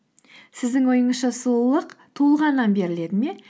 сіздің ойыңызша сұлулық туылғаннан беріледі ме